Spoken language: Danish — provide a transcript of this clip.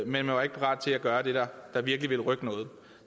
man var ikke parat til at gøre det der virkelig ville rykke noget